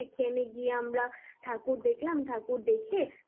সেখানে গিয়ে আমরা ঠাকুর দেখলাম ঠাকুর দেখে